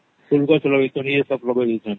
ଫୁଲ ଗଛ ଲଗେଇକରି ଏ ସବୁ ଲଗେଇ ଡାଉଛନ